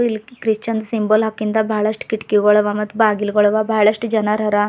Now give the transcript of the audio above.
ಇಲ್ಲಿ Christian symbol ಹಾಕಿಂದ ಬಹಳಸ್ಟ ಕಿಟಕಿಗೊಳ ಆವಾ ಮತ್ತ ಬಾಗಿಲಗೊಳ ಆವಾ ಮತ್ತ್ ಬಹಳಷ್ಟ ಜನರ ಅರಾ.